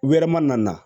Wɛrɛ ma na